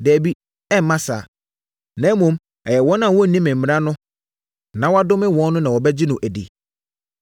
Dabi, ɛremma saa, na mmom ɛyɛ wɔn a wɔnnim mmara no na wɔadome wɔn no na wɔbɛgye no adi.”